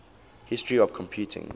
history of computing